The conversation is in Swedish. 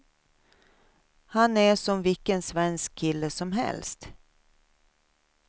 Han är som vilken svensk kille som helst.